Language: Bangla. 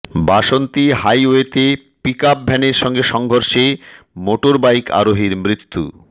বাসন্তী হাইওয়েতে পিক আপ ভ্যানের সঙ্গে সংঘর্ষে মোটর বাইক আরোহীর মৃত্যু